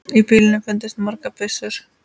Í bílnum fundust margar byssur.